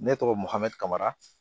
Ne tɔgɔ mahamikara